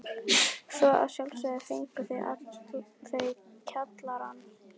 Svo að sjálfsögðu fengu þau kjallarann.